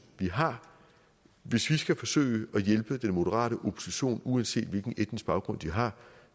vi har hvis vi skal forsøge at hjælpe den moderate opposition uanset hvilken etnisk baggrund de har